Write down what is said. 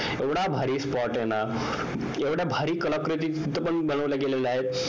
एवढा भारी spot आहे ना एवढ्या भारी कलाकृती पण तिथे बनवल्या गेल्या आहेत